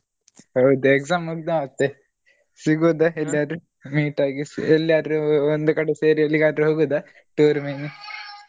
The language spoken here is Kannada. ಹೌದ exam ಮುಗ್ದ ಮತ್ತೆ ಸಿಗುದ ಎಲ್ಲಿಯಾದ್ರೂ meet ಆಗಿ ಎಲ್ಲಿಯಾದ್ರು ಒಂದು ಕಡೆ ಸೇರಿ ಎಲ್ಲಿಗಾದ್ರು ಹೋಗುದಾ tour ಮಿನಿ .